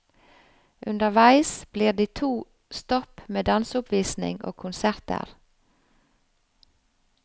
Underveis blir det to stopp med danseoppvisning og konserter.